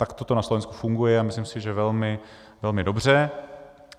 Takto to na Slovensku funguje a myslím si, že velmi dobře.